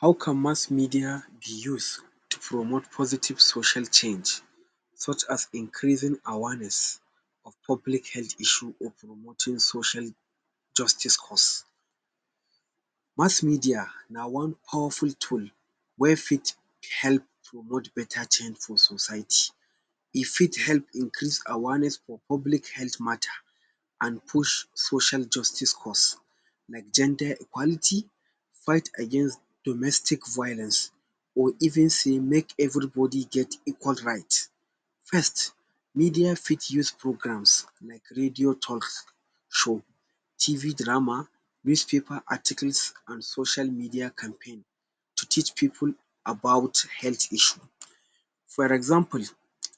How can mass media be use to promote positive social change such as increasing awareness of public health issue or promoting social justice cause? Mass media na one powerful tool wey fit help promote beta change for society. E fit help increase awareness for public health matter, an push social justice cause like gender equality, fight against domestic violence, or even say make everybody get equal right. First, media fit use programs like radio talk show, TV drama, newspaper articles, an social media campaign to teach pipu about health issue. For example,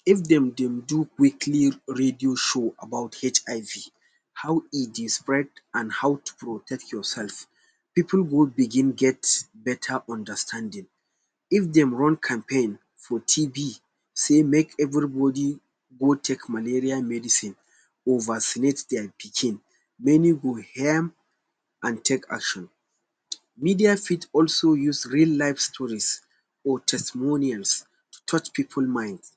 if dem dey do weekly radio show about HIV, how e dey spread an how to protect yoursef, pipu go begin get beta understanding. If dem run campaign for TB sey make everybody go take malaria medicine, or vaccinate dia pikin, many go an take action. Media fit also use real life stories or testimonials to touch pipu minds.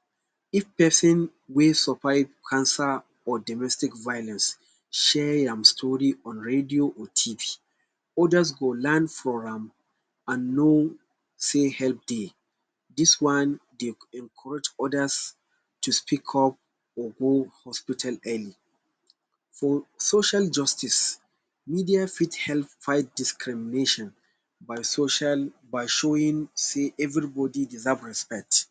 If pesin wey survive cancer or domestic violence share am story on radio or TB, others go learn from am, an know sey help dey. Dis one dey encourage others to speak up or go hospital early. For social justice, media fit help fight discrimination by social by showing sey everybody deserve respect.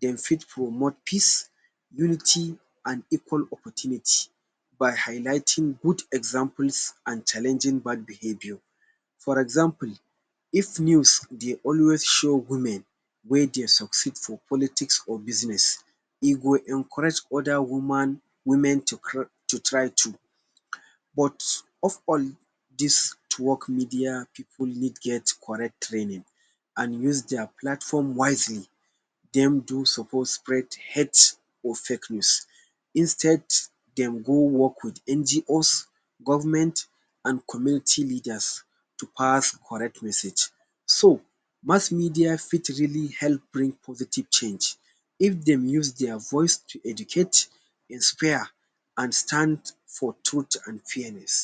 Dem fit promote peace, unity, an equal opportunity by highlighting good examples an challenging bad behaviour. For example, if news dey always show women wey dey succeed for politics or business, e go encourage other woman women to to try too. But of all dis media pipu need get correct training, an use dia platform wisely, dem do suppose spread hate or fake news. Instead, dem go work with NGOs, government, an community leaders to pass correct message. So, mass media fit really help bring positive change if dem use dia voice to educate, inspire an stand for truth an fairness.